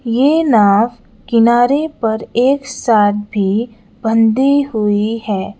ये नाव किनारे पर एक साथ भी बंधी हुई है।